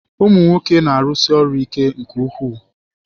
Ụmụ nwoke na-arụsi ọrụ ike nke ukwu.